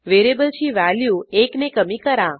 व्हेरिएबलची व्हॅल्यू एकने कमी करा